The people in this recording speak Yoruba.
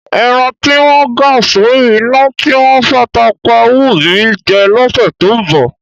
Ẹran tí wọ́n ga sórí iná, tí wọ́n fata pá á wù mí jẹ lọ́sẹ̀ tó ń bọ̀.